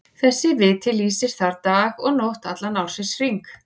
Þessi viti lýsir þar dag og nótt allan ársins hring.